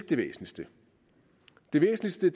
det væsentligste det væsentligste